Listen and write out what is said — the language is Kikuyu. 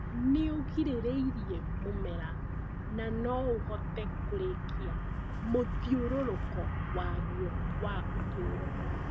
nĩũgirĩrĩirie mũmera nanoũhote kũrĩkia mũthiũrũrũko waguo wa ũtũro